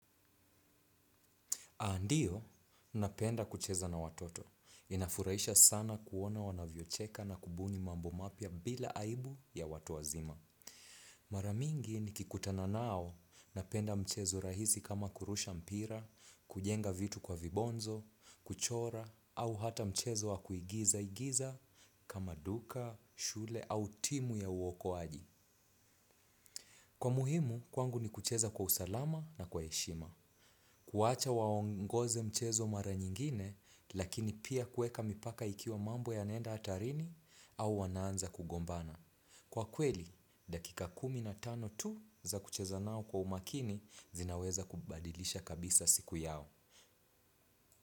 Aa ndiyo, napenda kucheza na watoto. Inafurahisha sana kuona wanavyocheka na kubuni mambo mapya bila aibu ya watu wazima. Maramingi nikikutana nao, napenda mchezo rahisi kama kurusha mpira, kujenga vitu kwa vibonzo, kuchora, au hata mchezo wa kuigiza-igiza kama duka, shule au timu ya uokoaji. Kwa muhimu, kwangu ni kucheza kwa usalama na kwa heshima. Kuwacha waongoze mchezo mara nyingine, lakini pia kuweka mipaka ikiwa mambo yanaenda hatarini au wanaanza kugombana. Kwa kweli, dakika kumi na tano tu za kucheza nao kwa umakini zinaweza kubadilisha kabisa siku yao.